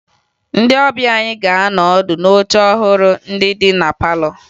Ndị ọbịa anyị ga-anọ ọdụ n'oche ọhụrụ ndị dị na palọ